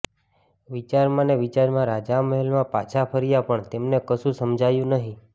વિચારમાં ને વિચારમાં રાજા મહેલમાં પાછા ફર્યા પણ તેમને કશું સમજાયું નહીં